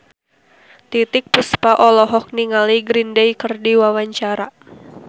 Titiek Puspa olohok ningali Green Day keur diwawancara